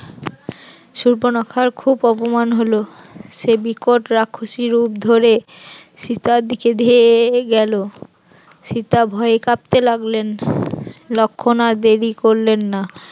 সুর্পনখার খুব অপমান হল, সে বিকট রাক্ষসী রূপ ধরে সীতার দিকে ধেয়ে গেল, সীতা ভয়ে কাঁপতে লাগলেন, লক্ষণ আর দেরি করলেন না